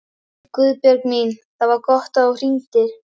Guðbjörg mín, það var gott að þú hringdir.